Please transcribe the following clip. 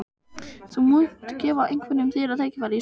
Þú munt gefa einhverjum þeirra tækifæri í sumar?